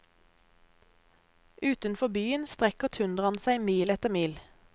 Utenfor byen strekker tundraen seg mil etter mil.